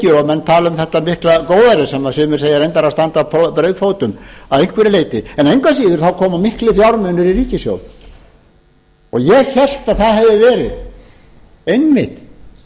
og menn tala um þetta mikla góðæri sem sumir segja reyndar að standi á brauðfótum að einhverju leyti en engu að síður komu miklar fjármunir i ríkissjóð og ég hélt að það hefði verið einmitt